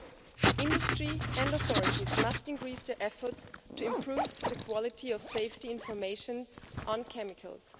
Both industry and the authorities must increase their efforts to improve the quality of safety information on chemicals.